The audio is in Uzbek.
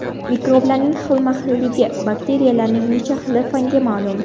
Mikroblarning xilma-xilligi – Bakteriyalarning necha xili fanga ma’lum ?